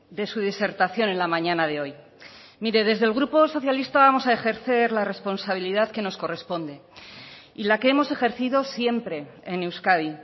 de su disertación en la mañana de hoy mire desde el grupo socialista vamos a ejercer la responsabilidad que nos corresponde y la que hemos ejercido siempre en euskadi